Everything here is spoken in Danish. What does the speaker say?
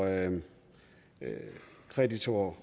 kreditorer